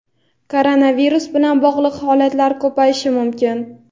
koronavirus bilan bog‘liq holatlar ko‘payishi mumkin.